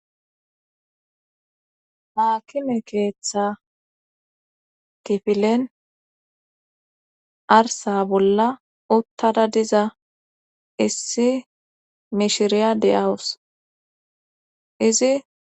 Haakime keeththa kifilen arsa bolla uttada diza issi mishiriya de7awus izi.